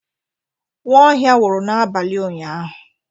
Nwaohia nwụrụ n'abalị ụnyahụ.